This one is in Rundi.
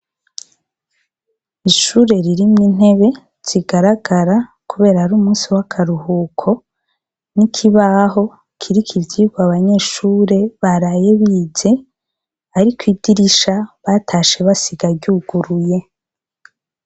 Ishure ririmwa intebe zigaragara, kubera ari umusi w'akaruhuko n'ikibaho kirika ivyirwa abanyeshure barayebize, ariko idirisha batashe basigaryuguruye.